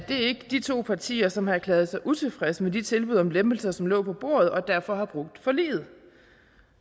de to partier som har erklæret sig utilfredse med de tilbud om lempelser som lå på bordet og derfor har brudt forliget